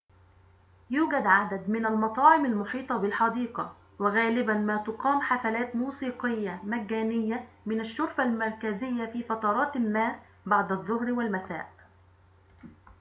يوجد عددٌ من المطاعم المحيطة بالحديقة وغالباً ما تُقام حفلاتٌ موسيقيةٌ مجانية ٌمن الشرفة المركزية في فترات ما بعد الظهر والمساء